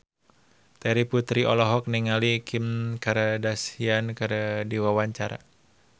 Terry Putri olohok ningali Kim Kardashian keur diwawancara